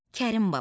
Kərim Baba.